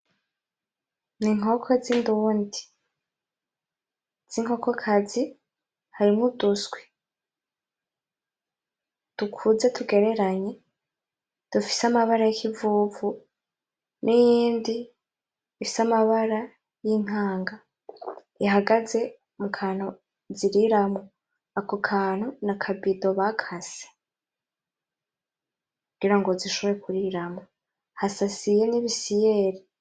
N'inkoko z'indundi z'inkokokazi harimwo uduswi dukuze tugereranye dufise amabara y'ikivuvu, n'iyindi ifise amabara y'inkanga. Ihagaze mukantu ziriramwo, ako kantu n'akabido bakase kugira ngo zishobore kuriramwo, hasasiye n'ibisiyeri.